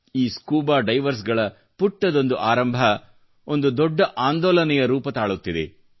ಈ scuba divers ಗಳ ಪುಟ್ಟದೊಂದು ಆರಂಭ ಒಂದು ದೊಡ್ಡ ಆಂದೋಲನೆಯ ರೂಪ ತಾಳುತ್ತಿದೆ